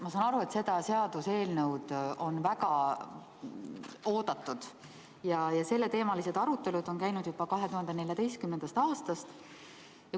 Ma saan aru, et seda seaduseelnõu on väga oodatud, selleteemalised arutelud on käinud juba 2014. aastast.